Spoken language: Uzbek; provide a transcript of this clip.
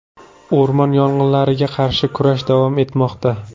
O‘rmon yong‘inlariga qarshi kurash davom etmoqda.